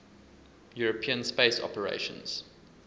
european space operations